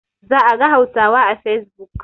Za a ga Hausawa a facebook.